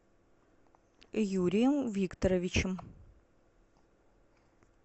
юрием викторовичем